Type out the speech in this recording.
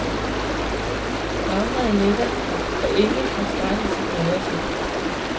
Dramaet letter og engleforskrækkelsen breder sig.